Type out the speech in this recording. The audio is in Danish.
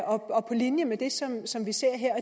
og på linje med det som som vi ser her